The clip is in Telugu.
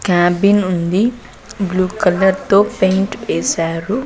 క్యాబిన్ ఉంది బ్లూ కలర్ తో పెయింట్ ఏశారు.